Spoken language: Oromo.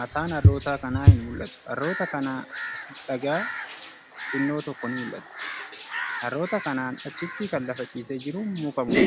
mataannharroota kanaa hin mul'atu. Harroota kanaa as dhagaa xinnoon tokko ni mul'ata. Harroota kanaan achitti kan lafa ciisee jiru muka moo sibiila?